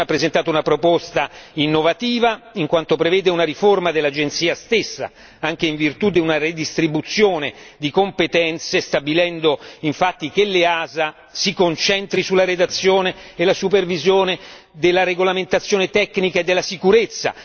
La Commissione ha presentato una proposta innovativa, in quanto prevede una riforma dell'Agenzia stessa, anche in virtù di una ridistribuzione di competenze stabilendo infatti che l'EASA si concentri sulla redazione e la supervisione della regolamentazione tecnica e della sicurezza